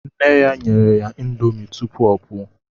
Nne ya nyere ya índomi tụpụ ọ pụọ